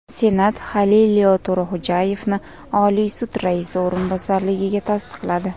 Senat Halilillo To‘raxo‘jayevni Oliy sud raisi o‘rinbosarligiga tasdiqladi.